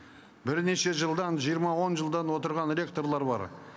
бірнеше жылдан жиырма он жылдан отырған ректорлар бар